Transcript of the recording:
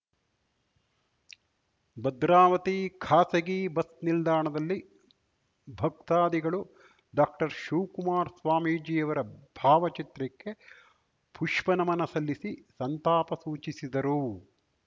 ಭದ್ರಾವತಿ ಖಾಸಗಿ ಬಸ್‌ ನಿಲ್ದಾಣದಲ್ಲಿ ಭಕ್ತಾದಿಗಳು ಡಾಕ್ಟರ್ ಶ್ರೀ ಶಿವಕುಮಾರ ಸ್ವಾಮೀಜಿಯವರ ಭಾವಚಿತ್ರಕ್ಕೆ ಪುಷ್ಪನಮನ ಸಲ್ಲಿಸಿ ಸಂತಾಪ ಸೂಚಿಸಿದರು